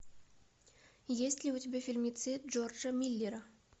есть ли у тебя фильмецы джорджа миллера